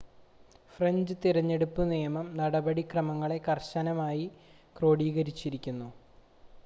French തിരഞ്ഞെടുപ്പ് നിയമം നടപടിക്രമങ്ങളെ കർശനമായി ക്രോഡീകരിക്കുന്നു